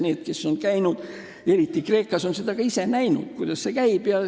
Need, kes on kohal käinud, on eriti Kreekas ka ise näinud, kuidas see käib.